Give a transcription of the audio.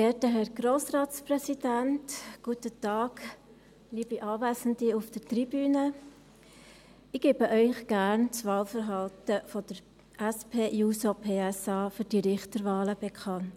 Ich gebe Ihnen gerne das Wahlverhalten der SP-JUSO-PSA für diese Richterwahlen bekannt.